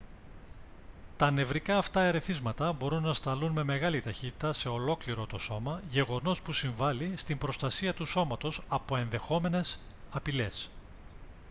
τα νευρικά αυτά ερεθίσματα μπορούν να σταλούν με μεγάλη ταχύτητα σε ολόκληρο το σώμα γεγονός που συμβάλει στην προστασία του σώματος από ενδεχόμενες απειλές